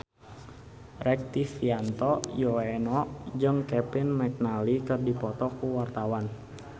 Rektivianto Yoewono jeung Kevin McNally keur dipoto ku wartawan